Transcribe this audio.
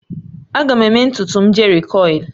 Aga m eme ntutu m jerikoil